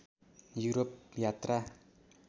Europe यात्रा